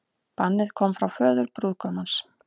Bannið kom frá föður brúðgumans